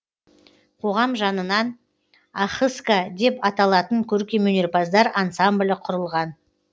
қоғам жанынан ахыска деп аталатын көркемөнерпаздар ансамблі құрылған